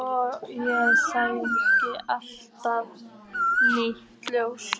og ég sæi allt í nýju ljósi.